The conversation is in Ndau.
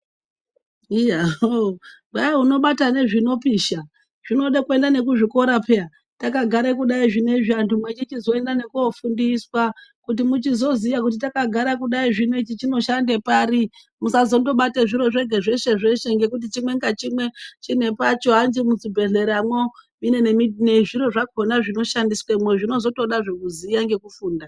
Iya hoo Kwayi unobata nezvinopisha zvinoda kuenda nekuzvikora peya takagare kudayi zvino izvi zvinoda kuenda nekunofundiswa kuti uchizoziva kuti chakagaea kudai ichi chinoshande pari usazonobata zviro zvese zvese ngekuti chimwe nechimwe chinepacho hanzi muzvibhedhleramo zviro zvimwe nezvimwe zvinoshandiswemo zvinotozoda kuzoziva ngekufunda.